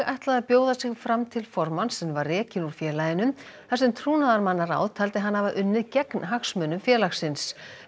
ætlaði að bjóða sig fram til formanns en var rekin úr félaginu þar sem trúnaðarmannaráð taldi hana hafa unnið gegn hagsmunum félagsins